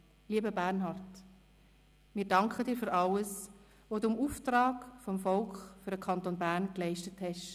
Lieber Bernhard, wie danken dir für alles, was du im Auftrag des Volkes für den Kanton Bern geleistet hast.